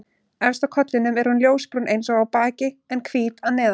Efst á kollinum er hún ljósbrún eins og á baki en hvít að neðan.